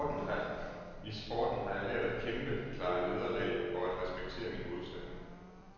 I sporten har jeg lært at kæmpe, klare nederlag og at respektere min modstander.